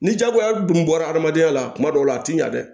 Ni jagoya dun bɔra adamadenya la kuma dɔw la a tɛ ɲa dɛ